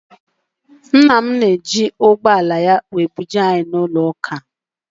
Ńnà mụ ga- eji ụgbọala ya wee buje anyị n' ụlọ ụka.